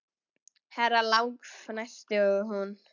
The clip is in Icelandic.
Herra Lang fnæsti hún.